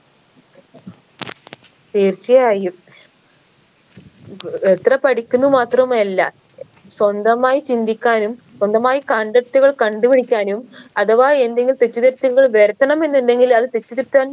തീർച്ചയായും എത്ര പഠിക്കുന്നു മാത്രമല്ല സ്വന്തമായി ചിന്തിക്കാനും സ്വന്തമായി കണ്ടെത്തുകൾ കണ്ടുപിടിക്കാനും അഥവാ എന്തെങ്കിം തെറ്റ് തിരുത്തുകൾ വരുത്തണമെന്നുണ്ടെങ്കിൽ അത് തെറ്റ് തിരുത്താൻ